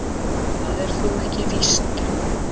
Það er þó ekki víst